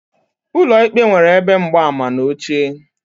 Ụlọ ikpe nwere ebe mgbaama na oche